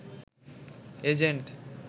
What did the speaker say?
agent